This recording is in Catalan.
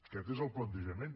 aquest és el plantejament